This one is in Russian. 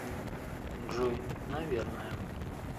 джой наверное